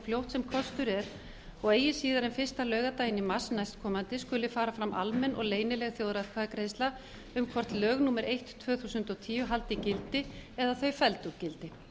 fljótt sem kostur er og eigi síðar en fyrsta laugardaginn í mars næstkomandi skuli fara fram almenn og leynileg þjóðaratkvæðagreiðsla um hvort lög númer eitt tvö þúsund og tíu haldi gildi eða þau felld úr gildi